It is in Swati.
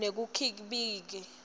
nekukhibika